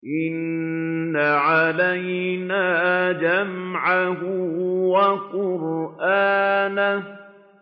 إِنَّ عَلَيْنَا جَمْعَهُ وَقُرْآنَهُ